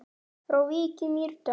Frá Vík í Mýrdal